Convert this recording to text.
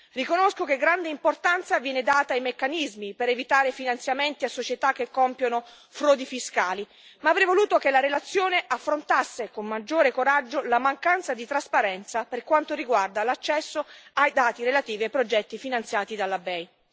Riconosco che grande importanza viene data ai meccanismi per evitare finanziamenti a società che compiono frodi fiscali, ma avrei voluto che la relazione affrontasse con maggiore coraggio, la mancanza di trasparenza per quanto riguarda l'accesso ai dati relativi ai progetti finanziati dalla BEI.